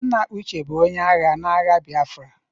Nna Uche bụ onye agha na agha Biafra.